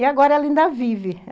E agora ela ainda vive.